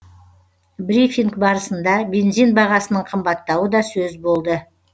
брифинг барысында бензин бағасының қымбаттауы да сөз болды